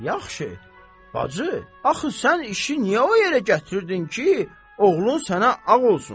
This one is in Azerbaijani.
Yaxşı, Bacı, axı sən işi niyə o yerə gətirdin ki, oğlun sənə ağ olsun.